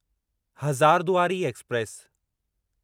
Hazarduari express